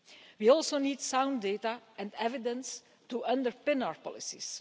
We also need sound data and evidence to underpin our policies.